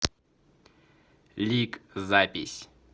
лик запись